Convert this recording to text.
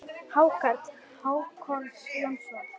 Hákarl: Hákon Jónsson